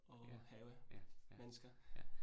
Ja. Ja, ja, ja